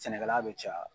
Sɛnɛkɛla bɛ caya